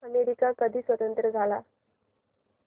America कधी स्वतंत्र झाला